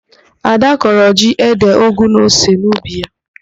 Ada kọrọ ji, ede, ụgụ na ose n'ubi ya.